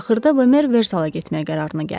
Axırda Bemer Versala getməyə qərarına gəldi.